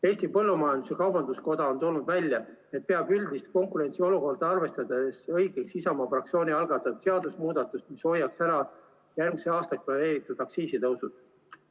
Eesti Põllumajandus-Kaubanduskoda on toonud välja, et peab üldist konkurentsiolukorda arvestades õigeks Isamaa fraktsiooni algatatud seadusemuudatust, mis hoiaks ära järgmiseks aastaks planeeritud aktsiisitõusud.